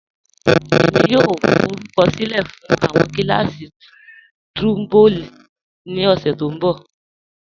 Ẹ̀mi yòò fọrùkọ̀sílẹ̀ fún awọn kílàsí̀ trombone ni ọṣẹ̀ tó nbọ̀.